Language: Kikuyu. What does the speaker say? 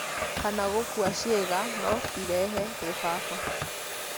kana gũkua ciĩga no irehe kĩbaba